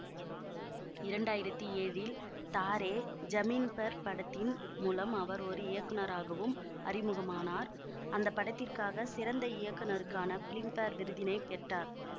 இரண்டாயிரத்தி ஏழில் தாரே ஜமீன் பர் படத்தின் மூலம் அவர் ஒரு இயக்குநராகவும் அறிமுகமானார் அந்த படத்திற்காக சிறந்த இயக்குநருக்கான ஃபிலிம் பேர் விருதினை பெற்றார்